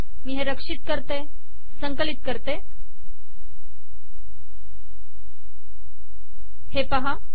मी हे रक्षित करते संकलित करते हे पाहा